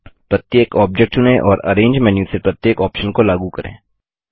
प्रत्येक ऑब्जेक्ट चुनें और अरेंज मेन्यू से प्रत्येक ऑप्शन को लागू करें